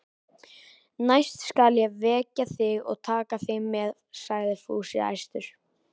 Næst skal ég vekja þig og taka þig með, sagði Fúsi æstur.